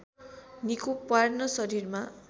निको पार्न शरीरमा